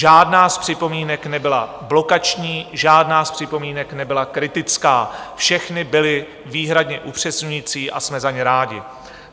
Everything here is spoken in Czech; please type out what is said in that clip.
Žádná z připomínek nebyla blokační, žádná z připomínek nebyla kritická, všechny byly výhradně upřesňující a jsme za ně rádi.